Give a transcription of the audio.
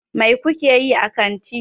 Mai ku ke yi a kanti?